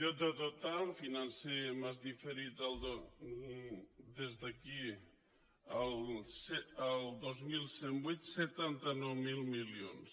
deute total financer més diferit d’aquí al dos mil cent i vuit setanta nou mil milions